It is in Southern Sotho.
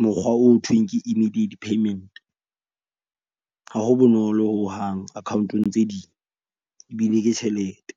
mokgwa o ho thweng ke immediate payment. Ha ho bonolo hohang account-ong tse ding ebile ke tjhelete.